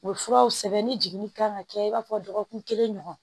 U bɛ furaw sɛbɛn ni jigini kan ka kɛ i b'a fɔ dɔgɔkun kelen ɲɔgɔn